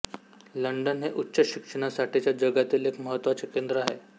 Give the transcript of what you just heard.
London हे उच्च शिक्षणासाठीचे जगातील एक महत्त्वाचे केंद्र आहे